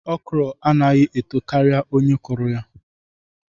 Okro anaghi eto kari onye kuru ya